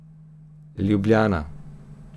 Ljubljana.